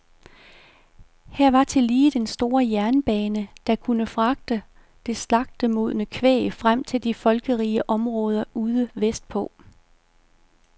Her var tillige den store jernbane, der kunne fragte det slagtemodne kvæg frem til de folkerige områder ude vestpå.